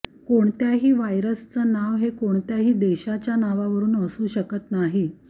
कोणत्याही व्हायरसचं नाव हे कोणत्याही देशाच्या नावावरून असू शकत नाही